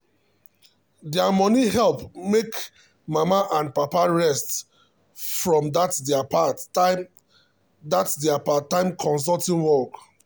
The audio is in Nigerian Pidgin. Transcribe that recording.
their money help make mama and papa rest from that their part-time that their part-time consulting work.